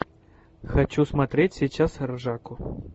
хочу смотреть сейчас ржаку